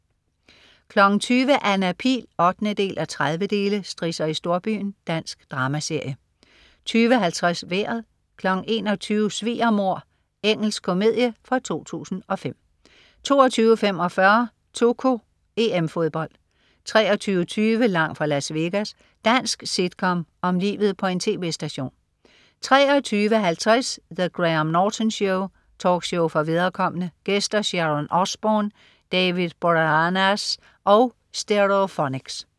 20.00 Anna Pihl 8:30. Strisser i storbyen. Dansk dramaserie 20.50 Vejret 21.00 Svigermor(d). Engelsk komedie fra 2005 22.45 2KO: EM-Fodbold 23.20 Langt fra Las Vegas. Dansk sitcom om livet på en tv-station 23.50 The Graham Norton Show. Talkshow for viderekomne. Gæster: Sharon Osbourne, David Boreanaz og Stereophonics